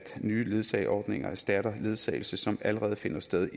nye ledsageordninger erstatter ledsagelse som allerede finder sted